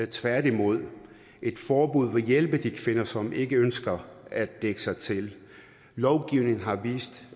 tværtimod et forbud vil hjælpe de kvinder som ikke ønsker at dække sig til lovgivning har vist